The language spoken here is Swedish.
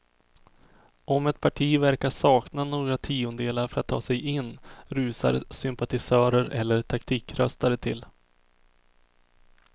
Om ett parti verkar sakna några tiondelar för att ta sig in rusar sympatisörer eller taktikröstare till.